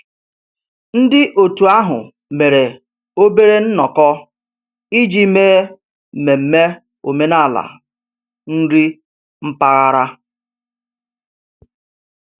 Ndị otu ahụ mere obere nnọkọ iji mee mmemme omenala nri mpaghara